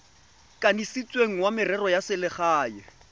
kanisitsweng wa merero ya selegae